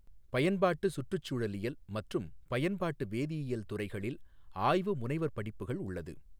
பயன்பாட்டுச் சுற்றுச் சூழழியல் மற்றும் பயன்பாட்டு வேதியியல் துறைகளில் ஆய்வு முனைவர் படிப்புகள் உள்ளது.